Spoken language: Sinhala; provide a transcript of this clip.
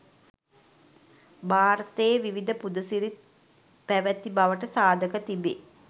භාරතයේ විවිධ පුද සිරිත් පැවැති බවට සාධක තිබේ.